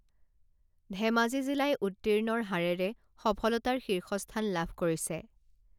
ধেমাজি জিলাই উত্তীৰ্ণৰ হাৰেৰে সফলতাৰ শীৰ্ষস্থান লাভ কৰিছে